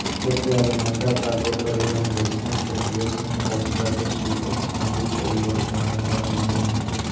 ત્યારે મોટા કાર્ગો પરિવહન રશિયન ફેડરેશન ઓફ પ્રદેશ વિકલ્પો નદી પરિવહન વારંવાર મળી નથી